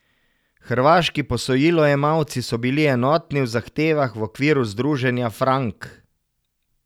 Hrvaški posojilojemalci so bili enotni v zahtevah v okviru Združenja Frank.